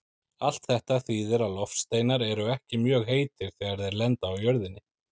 Allt þetta þýðir að loftsteinar eru ekki mjög heitir þegar þeir lenda á jörðinni.